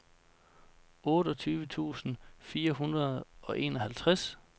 otteogtyve tusind fire hundrede og enoghalvtreds